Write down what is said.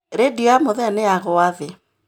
Rĩndiũ ya mũthee nĩnyagũa thĩ